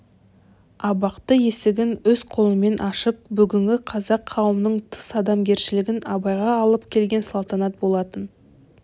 абақты есігін өз қолымен ашып бүгінгі қазақ қауымынан тыс адамгершілігін абайға алып келген салтанат болатын